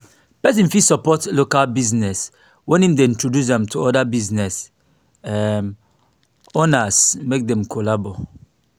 persin fit support local business when im de introduce am to oda business um owners make dem collabo